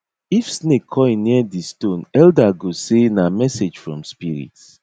if snake coil near di stone elder go say na message from spirit